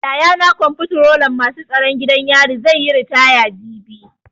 Yayana Komftrolan masu tsaron gidan yari zai yi ritaya jibi.